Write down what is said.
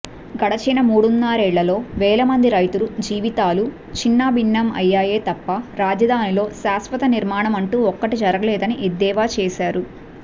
గడిచిన మూడున్నరేళ్లలో వేలమంది రైతుల జీవితాలు చిన్నాభిన్నం అయ్యాయే తప్ప రాజధానిలో శాశ్వత నిర్మాణమంటూ ఒక్కటీ జరగలేదని ఎద్దేవా చేసారు